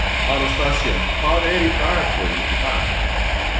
Anastasía, hvað er í dagatalinu í dag?